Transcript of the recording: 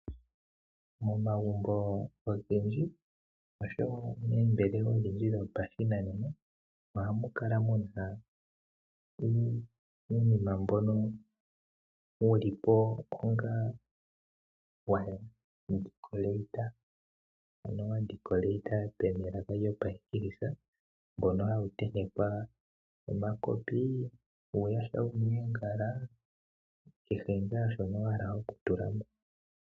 Momagumbo ogendji oshowo oombelewa odhindji dhopashinanena, ohamu kala muna uunima mbono wuli po woopaleka mbono hawi tentekwa omakopi, uuyaha wuna oongala kehe ngaa shono wahala oku tulapo.